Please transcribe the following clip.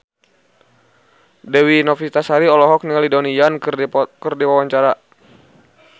Dewi Novitasari olohok ningali Donnie Yan keur diwawancara